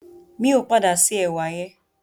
Mi ò padà se ẹ̀wà yẹn.